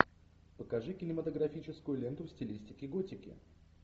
покажи кинематографическую ленту в стилистике готики